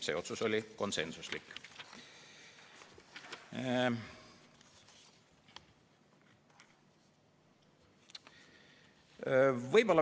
See otsus oli konsensuslik.